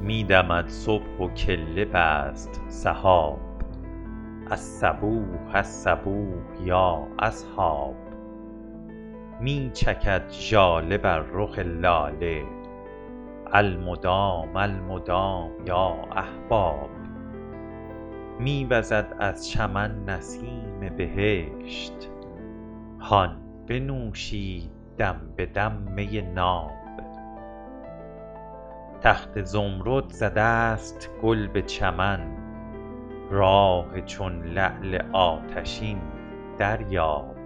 می دمد صبح و کله بست سحاب الصبوح الصبوح یا اصحاب می چکد ژاله بر رخ لاله المدام المدام یا احباب می وزد از چمن نسیم بهشت هان بنوشید دم به دم می ناب تخت زمرد زده است گل به چمن راح چون لعل آتشین دریاب